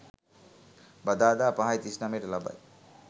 බදාදා 05.39 ට ලබයි.